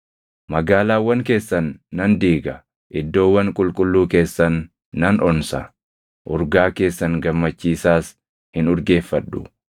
Magaalaawwan keessan nan diiga; iddoowwan qulqulluu keessan nan onsa; urgaa keessan gammachiisaas hin urgeeffadhu.